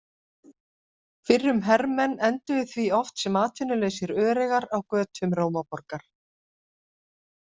Fyrrum hermenn enduðu því oft sem atvinnulausir öreigar á götum Rómaborgar.